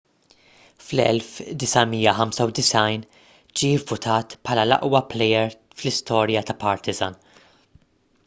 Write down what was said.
fl-1995 ġie vvutat bħala l-aqwa plejer fl-istorja ta' partizan